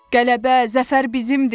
Qələbə, zəfər bizimdir.